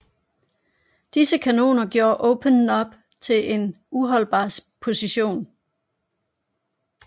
Disse kanoner gjorde Open Knob til en uholdbar position